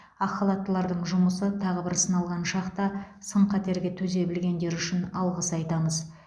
ақ халаттылардың жұмысы тағы бір сыналған шақта сын қатерге төзе білгендері үшін алғыс айтамыз